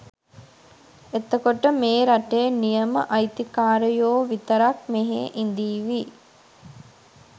එතකොට මේ රටේ නියම අයිතිකාරයෝ විතරක් මෙහෙ ඉඳීවි